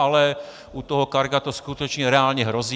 Ale u toho Carga to skutečně reálně hrozí.